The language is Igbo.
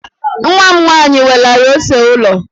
Nwa m nwaanyị welara ose ụlọ.